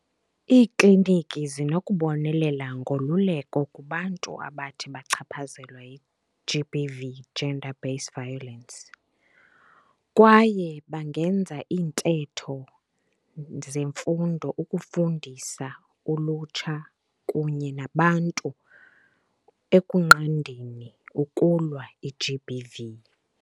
Iikliniki zinokubonelela ngololeko kubantu abathi bachaphazelwa yi-G_B_V, Gender Based Violence, kwaye bangenza iintetho zemfundo ukufundisa ulutsha kunye nabantu ekunqandeni ukulwa i-G_B_V.